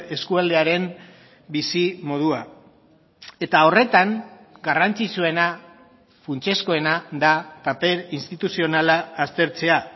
eskualdearen bizimodua eta horretan garrantzitsuena funtsezkoena da paper instituzionala aztertzea